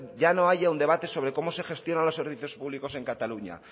ya no haya un debate sobre cómo se gestionan los servicios públicos en cataluña